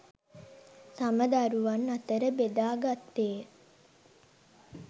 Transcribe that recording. තම දරුවන් අතර බෙදා ගත්තේය